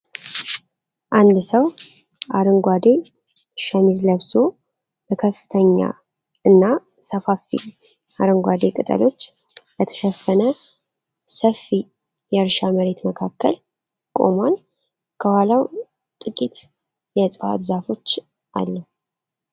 አንድ ሰው አረንጓዴ ሸሚዝ ለብሶ፣ በከፍተኛ እና ሰፋፊ አረንጓዴ ቅጠሎች በተሸፈነ ሰፊ የእርሻ መሬት መካከል ቆሟል። ከኋላው ጥቂት የእጽዋት ዛፎች አሉ።